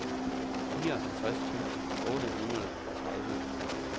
fireoghalvtreds tusind otte hundrede og tredive